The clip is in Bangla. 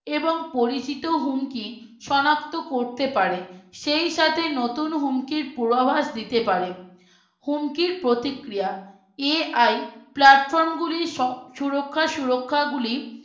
এবং পরিচিত হুমকি সনাক্ত করতে পারে সেই সাথে নতুন হুমকির পূর্বাভাস দিতে পারে হুমকির প্রতিক্রিয়া AI Platform গুলির সুরক্ষা সুরক্ষা গুলি